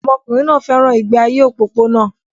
Ọmọkùnrin náà fẹ́ràn ìgbé ayé òpópónà